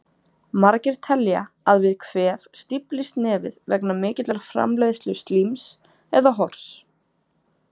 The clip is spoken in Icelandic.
Margir telja að við kvef stíflist nefið vegna mikillar framleiðslu slíms, eða hors.